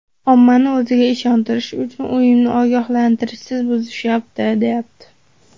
Ommani o‘ziga ishontirish uchun ‘uyimni ogohlantirishsiz buzishyapti’, deyapti.